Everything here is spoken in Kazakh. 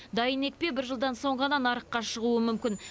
дайын екпе бір жылдан соң ғана нарыққа шығуы мүмкін